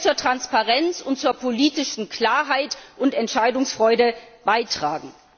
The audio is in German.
Das wird zur Transparenz und zur politischen Klarheit und Entscheidungsfreude beitragen.